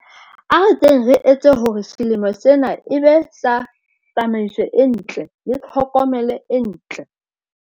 A re keng re etse hore selemo sena e be sa tsamaiso e ntle le tlhokomelo e ntle.